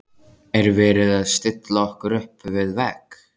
Er verið að stilla okkur upp við vegg?